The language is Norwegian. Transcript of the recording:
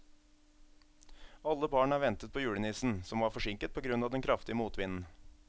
Alle barna ventet på julenissen, som var forsinket på grunn av den kraftige motvinden.